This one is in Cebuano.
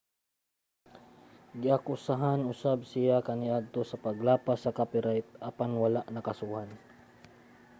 giakusahan usab siya kaniadto sa paglapas sa copyright apan wala nakasuhan